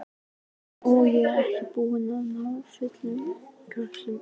Og er ekki búin að ná fullum kröftum enn.